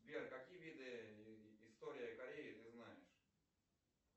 сбер какие виды история кореи ты знаешь